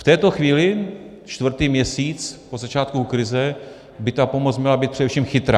V této chvíli, čtvrtý měsíc od začátku krize, by ta pomoc měla být především chytrá.